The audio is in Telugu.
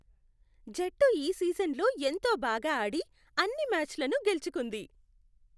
జట్టు ఈ సీజన్లో ఎంతో బాగా ఆడి, అన్ని మ్యాచ్లను గెలుచుకుంది.